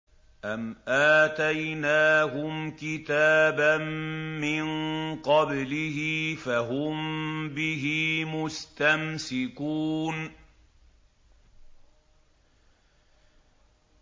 أَمْ آتَيْنَاهُمْ كِتَابًا مِّن قَبْلِهِ فَهُم بِهِ مُسْتَمْسِكُونَ